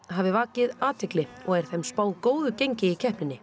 hafi vakið athygli og er þeim spáð góðu gengi í keppninni